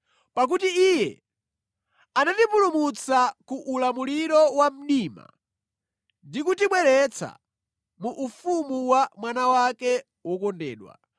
Pakuti Iye anatipulumutsa ku ulamuliro wa mdima ndi kutibweretsa mu ufumu wa Mwana wake wokondedwa.